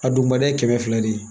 A dugumana ye kɛmɛ fila de ye